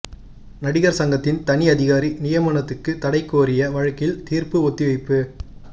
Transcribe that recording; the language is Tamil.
நடிகா் சங்கத்தின் தனி அதிகாரி நியமனத்துக்கு தடை கோரிய வழக்கில் தீா்ப்பு ஒத்திவைப்பு